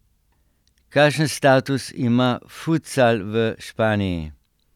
Kakšen status ima futsal v Španiji?